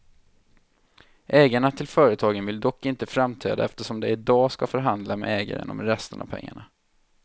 Ägarna till företagen vill dock inte framträda eftersom de i dag ska förhandla med ägaren om resten av pengarna.